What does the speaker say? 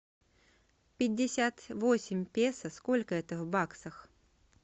пятьдесят восемь песо сколько это в баксах